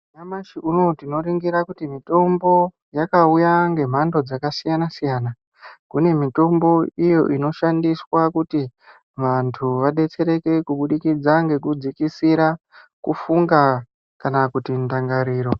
Nyamashi unou tinoringira kuti mitombo yakauya ngemhando dzakasiyana siyana kune mitombo iyo inoshandiswa kuti vantu vadetsereke kuburikidza kufunga kana kuti ndangariro.